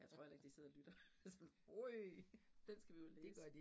Jeg tror heller ikke de sidder og lytter sådan øj, den skal vi jo læse